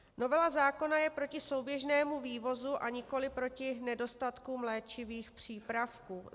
Novela zákona je proti souběžnému vývozu, a nikoliv proti nedostatkům léčivých přípravků.